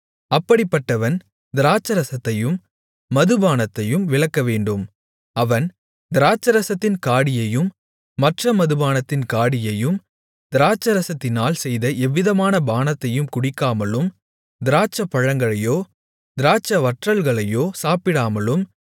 அப்படிப்பட்டவன் திராட்சைரசத்தையும் மதுபானத்தையும் விலக்கவேண்டும் அவன் திராட்சைரசத்தின் காடியையும் மற்ற மதுபானத்தின் காடியையும் திராட்சைரசத்தினால் செய்த எவ்விதமான பானத்தையும் குடிக்காமலும் திராட்சைப்பழங்களையோ திராட்சைவற்றல்களையோ சாப்பிடாமலும்